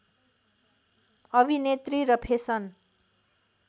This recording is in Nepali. अभिनेत्री र फेसन